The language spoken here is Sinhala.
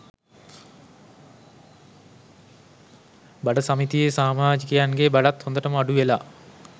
බඩ සමිතියේ සාමාජිකයන්ගේ බඩත් හොදටම අඩු වෙලා